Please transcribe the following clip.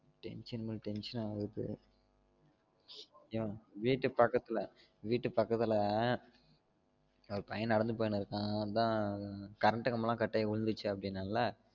Tension மேல tension ஆகுது என் வீட்டு பக்கத்துல வீட்டு பக்கத்துல ஒரு பையன் நடந்து போயினு இருக்கான் அதான் current கம்பம் கட் ஆயி உழுந்துருச்சு அப்டின்னள்ள